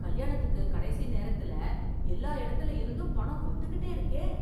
கல்யாணத்துக்கு கடைசி நேரத்துல எல்லா இடத்துல இருந்தும் பணம் வந்துகிட்டே இருக்கே.